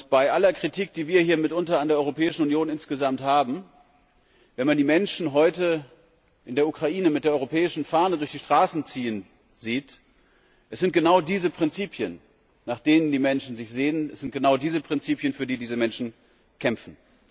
Bei aller Kritik, die wir hier mitunter an der Europäischen Union insgesamt haben wenn man die Menschen heute in der Ukraine mit der europäischen Fahne durch die Straßen ziehen sieht, sind es genau diese Prinzipien, nach denen die Menschen sich sehnen, es sind genau diese Prinzipien, für die diese Menschen kämpfen.